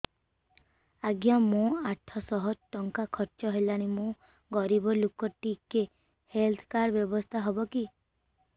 ଆଜ୍ଞା ମୋ ଆଠ ସହ ଟଙ୍କା ଖର୍ଚ୍ଚ ହେଲାଣି ମୁଁ ଗରିବ ଲୁକ ଟିକେ ହେଲ୍ଥ କାର୍ଡ ବ୍ୟବସ୍ଥା ହବ କି